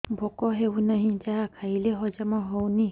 ଭୋକ ହେଉନାହିଁ ଯାହା ଖାଇଲେ ହଜମ ହଉନି